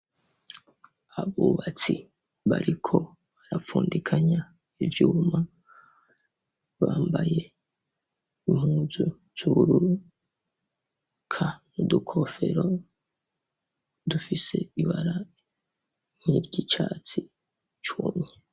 Abubatsi bariko barapfundikanya ivyuma bambaye impuzu z'ubururu ka mu dukofero dufise ibara nk'iryicatsi cumye.